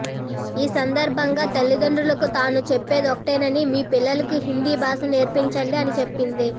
ఈ సందర్భంగా తల్లిదండ్రులకు తాను చెప్పేదొక్కటేనని మీ పిల్లలకు హిందీ భాషను నేర్పించండి అని చెప్పింది